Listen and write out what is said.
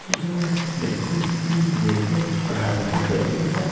जो बिल्कुल मंदिर के बाहर के क़रीब है।